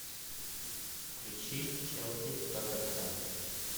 включи челси тоттенхэм